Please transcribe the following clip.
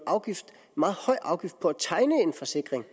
afgift på at tegne en forsikring